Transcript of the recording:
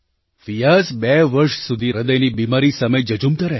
ફિયાઝ બે વર્ષ સુધી હૃદયની બીમારી સામે ઝઝૂમતા રહ્યા